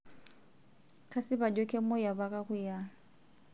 kasip ajo kemuoi apa kakuyia